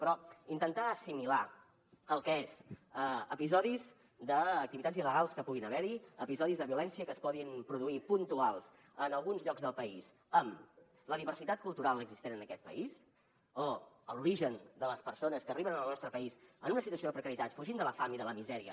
però intentar assimilar el que són episodis d’activitats il·legals que puguin haver hi episodis de violència que es puguin produir puntuals en alguns llocs del país amb la diversitat cultural existent en aquest país o amb l’origen de les persones que arriben al nostre país en una situació de precarietat fugint de la fam i de la misèria